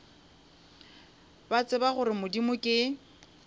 ba tseba gore modimo ke